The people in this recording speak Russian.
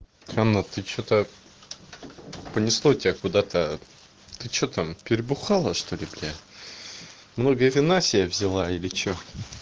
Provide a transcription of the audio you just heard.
анна ты что-то понесло тебя куда-то ты что там перебухала что-ли блядь много вина себе взяла или что